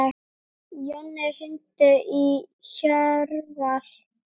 Jonni, hringdu í Hjörvar.